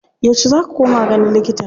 Yauce za ka koma ganin likita?